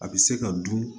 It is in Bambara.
A bɛ se ka dun